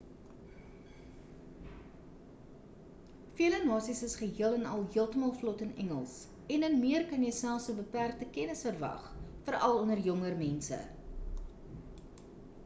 vele nasies is geheel en al heeltemal vlot in engels en in meer kan jy selfs 'n beperkte kennis verwag veral onder jonger mense